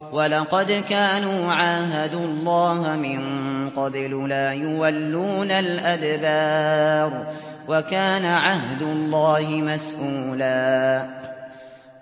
وَلَقَدْ كَانُوا عَاهَدُوا اللَّهَ مِن قَبْلُ لَا يُوَلُّونَ الْأَدْبَارَ ۚ وَكَانَ عَهْدُ اللَّهِ مَسْئُولًا